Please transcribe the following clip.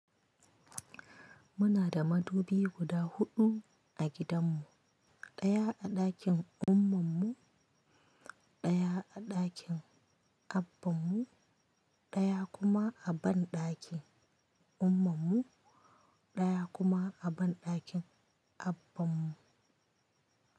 Muna da madubi guda huɗu a gidanmu, ɗaya a ɗakin ummammu, ɗaya a ɗakin abbanmu, ɗaya kuma a banɗakin ummammu, ɗaya kuma a banɗakin abbanmu.